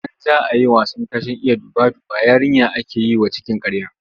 Idan za a yi wasan tashen Iya duba-duba, yarinya ake yi wa cikin ƙarya.